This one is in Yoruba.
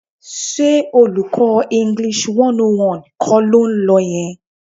Ṣé olùkọ́ Eng 101 kọ́ ló ń lọ yẹn?